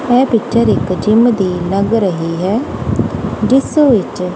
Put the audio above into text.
ਇਹ ਪਿਕਚਰ ਇੱਕ ਜਿੱਮ ਦੀ ਲੱਗ ਰਹੀ ਹੈ ਜਿੱਸ ਵਿੱਚ--